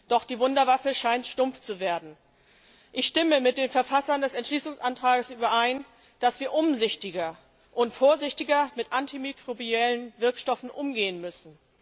Doch die Wunderwaffe scheint stumpf zu werden. Ich stimme mit den Verfassern des Entschließungsantrags überein, dass wir umsichtiger und vorsichtiger mit antimikrobiellen Wirkstoffen umgehen müssen.